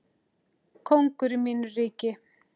Kóngur í mínu ríki.